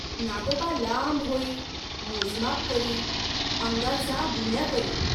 नागोबा लांब होई, मोज माप करी, अंगाचा गुण्या करी.